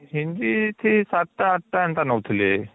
hindi ସେ ୭ ଟା ୮ ଟା ଏନ୍ତା ନଉଥିଲେ